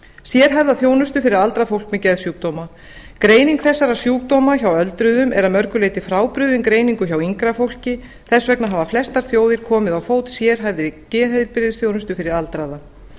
sérhæfða þjónustu fyrir aldrað fólk með geðsjúkdóma greining þessara sjúkdóma hjá öldruðum er að mörgu leyti frábrugðin greiningu hjá yngra fólki þess vegna hafa flestar þjóðir koma á fót sérhæfðri geðheilbrigðisþjónustu fyrir aldraða